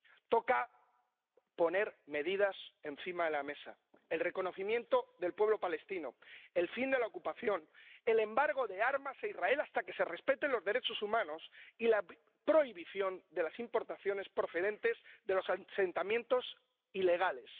Toca poner medidas encima de la mesa el reconocimiento del pueblo palestino, el fin de la ocupación, el embargo de armas a Israel hasta que se respeten los derechos humanos, y la prohibición de las importaciones procedentes de los asentamientos ilegales.